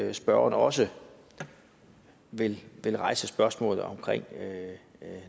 at spørgeren også vil vil rejse spørgsmålet om